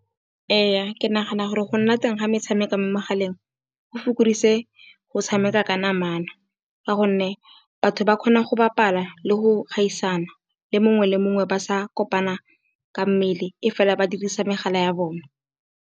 Ee, ke nagana gore go nna teng ga metshameko mo megaleng, go fokoditse go tshameka ka namana. Ka gonne batho ba kgona go bapala le go gaisana le mongwe le mongwe, ba sa kopana ka mmele e fela ba dirisa megala ya bone.